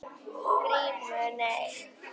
GRÍMUR: Nei?